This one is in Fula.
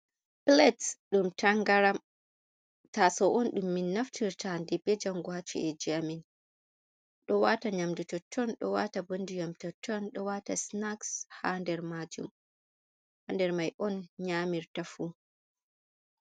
Plats ɗum tangaram taso’on ɗum min naftirtaa hande be jango ha ci’eji amin ɗo wata nyamdu totton, ɗo wata bo ndiyam totton, ɗo wata snaks ha nder majjum ha nder mai on nyamirta fu.